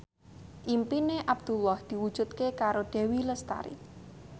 impine Abdullah diwujudke karo Dewi Lestari